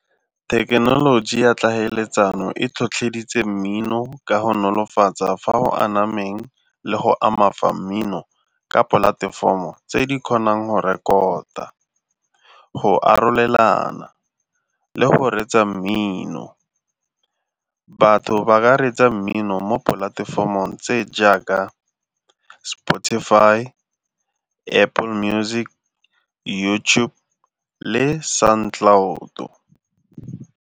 Thekenoloji ya tlhaeletsano e tlhotlheditse mmino ka go nolofatsa fa go anameng le go ama fa mmino ka polatefomo tse di kgonang go rekota, go arolelana le go reetsa mmino. Batho ba ka reetsa mmino mo dipolatefomong tse jaaka Spotify, Apple Music, YouTube le Sound Cloud.